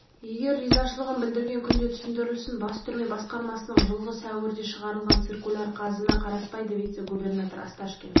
егер ризашылығын білдірген күнде түсіндірілсін бас түрме басқармасының жылғы сәуірде шығарылған циркуляр қазына қараспайды вице-губернатор осташкин